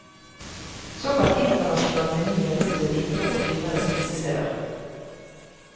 Såkalt internasjonal meny har gjort sitt inntog på finere spisesteder.